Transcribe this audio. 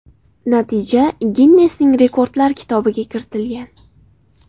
Natija Ginnesning rekordlar kitobiga kiritilgan.